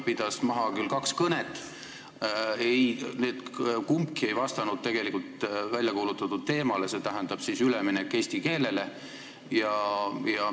Ta pidas maha kaks kõnet, need kumbki ei vastanud tegelikult väljakuulutatud teemale, milleks oli üleminek eesti keelele.